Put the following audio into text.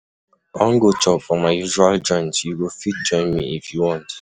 I wan go chop for my usual joint, you go fit join me if you want.